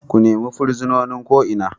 Ku nima fursunonin ko Ina!